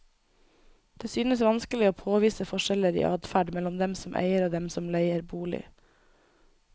Det synes vanskelig å påvise forskjeller i adferd mellom dem som eier og dem som leier bolig.